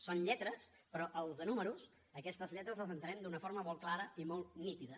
són lletres però els de números aquestes lletres les entenem d’una forma molt clara i molt nítida